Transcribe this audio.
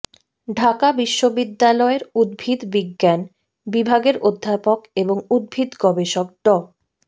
ঢাকা বিশ্ববিদ্যালয়ের উদ্ভিদ বিজ্ঞান বিভাগের অধ্যাপক এবং উদ্ভিদ গবেষক ড